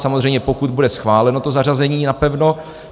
Samozřejmě pokud bude schváleno to zařazení napevno.